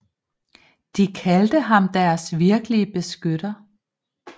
De kaldte ham deres virkelige beskytter